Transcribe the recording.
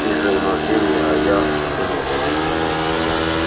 ты же у нас гений а я сосунок